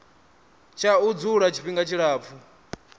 tsha u dzula tshifhinga tshilapfu